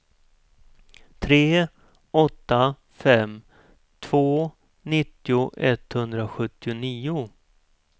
tre åtta fem två nittio etthundrasjuttionio